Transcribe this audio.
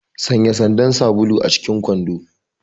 Sanya sandar sabulu acikin kwando!